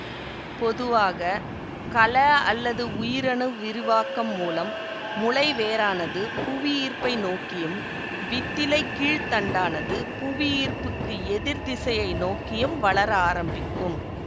பொதுவாக கல அல்லது உயிரணு விரிவாக்கம் மூலம் முளை வேரானது புவியீர்ப்பை நோக்கியும் வித்திலைக்கீழ்த்தண்டானது புவியீர்ப்புக்கு எதிர் திசையை நோக்கியும் வளர ஆரம்பிக்கும்